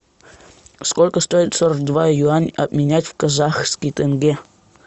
сколько стоит сорок два юань обменять в казахский тенге